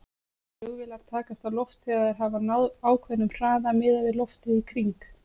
Flugvélar takast á loft þegar þær hafa náð ákveðnum hraða miðað við loftið í kring.